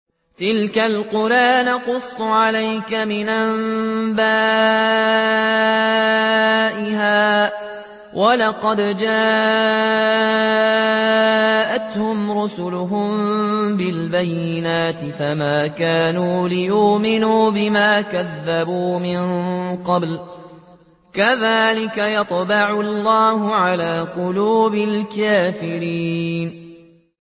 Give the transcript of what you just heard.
تِلْكَ الْقُرَىٰ نَقُصُّ عَلَيْكَ مِنْ أَنبَائِهَا ۚ وَلَقَدْ جَاءَتْهُمْ رُسُلُهُم بِالْبَيِّنَاتِ فَمَا كَانُوا لِيُؤْمِنُوا بِمَا كَذَّبُوا مِن قَبْلُ ۚ كَذَٰلِكَ يَطْبَعُ اللَّهُ عَلَىٰ قُلُوبِ الْكَافِرِينَ